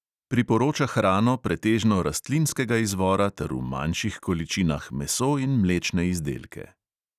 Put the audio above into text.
Priporoča hrano pretežno rastlinskega izvora ter v manjših količinah meso in mlečne izdelke.